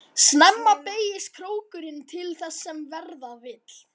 Snemma beygist krókurinn til þess sem verða vill.